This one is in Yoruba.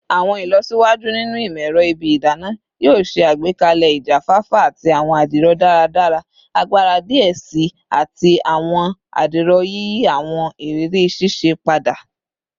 Awọn ilọsiwaju ninu imọ-ẹrọ ibi idana yoo ṣe agbekalẹ ijafafa ati awọn adiro daradara-agbara diẹ sii ati awọn adiro, yiyi awọn iriri sise pada